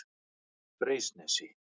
Freysnesi